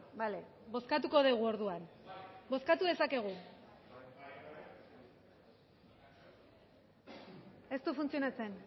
bale bozkatuko dugu orduan bozkatu dezakegu ez du funtzionatzen